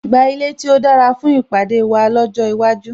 Gba ilé tí ó dára fún ìpàdé wa ọjọ́ iwájú